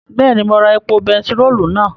Bẹ́ẹ̀ni, mo ra epo bentiróòlù náà